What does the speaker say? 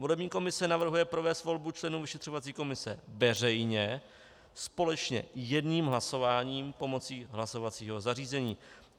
Volební komise navrhuje provést volbu členů vyšetřovací komise veřejně společně jedním hlasováním pomocí hlasovacího zařízení.